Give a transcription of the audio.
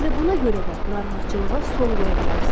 Elə buna görə də narahatçılığa son qoya bilərsiniz.